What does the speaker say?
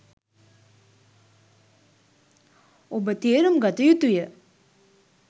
ඔබ තේරුම් ගත යුතු ය.